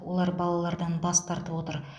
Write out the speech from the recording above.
олар балалардан бас тартып отыр